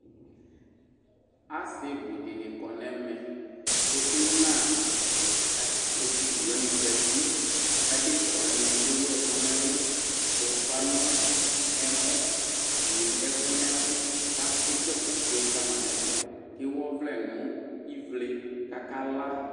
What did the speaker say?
Asɩbʊdini kɔ nʊ ɛmɛ Ku ɩna asiviwani zati , kʊ adekawani ewu ɛkʊ nɛlʊ, dʊ ʊfa nʊ ɛmɔ, wʊ ɛkʊ nɛlʊ Kʊetsoe ɛkʊfoe kama nʊ ɛtʊ Kewʊ ɔvlɛ nʊ ivle kʊ akala